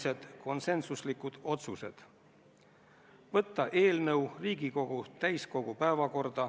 See oli konsensuslik otsus, millele andsid toetuse kõik Riigikogu fraktsioonid, kõik komisjoni liikmed.